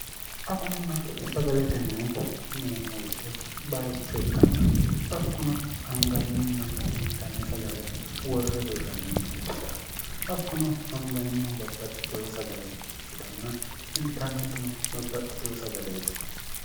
agunna sagalete mine neemmo wite bayicho ikkanna hakkuno anganninna intanne sagale worri hiirranni melehershaati hakkuno angannihu babbaxxiteho sagale ikkitanna intannetino babbaxxiteho sagaleeti